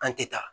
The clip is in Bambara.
An tɛ taa